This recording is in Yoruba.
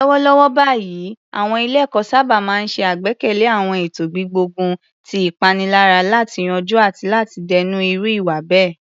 Lọ́wọ́lọ́wọ́ báyìí, àwọn ilé-ẹ̀kọ́ sábà máa ń ṣe àgbékalẹ̀ àwọn ètò gbígbógun ti ìpaniláyà láti yanjú àti láti dènà irú ìwà bẹ́ẹ̀.